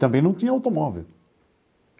Também não tinha automóvel.